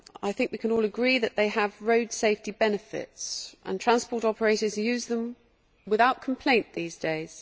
I think we can all agree that they have road safety benefits and transport operators use them without complaint these days.